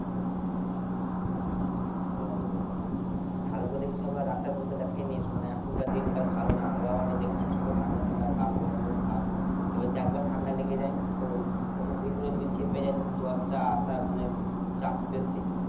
ও ভালো করে doctor ফাকতার দেখিয়ে নিস মানে এখনকার দিনকাল ভালো না আবহাওয়া টা দেখছিস তো ঠান্ডা ঠান্ডা ভাব গরম গরম ভাব এবার একবার যদি ঠান্ডা লেগে যায় না তো তখন ভেতরে যদি সে চেপে যায় তখন জ্বর টা আসার মানে chance বেশি